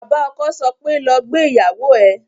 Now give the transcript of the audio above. Bàbá ọkọ sọ pé "lọ gbé ìyàwó ẹ"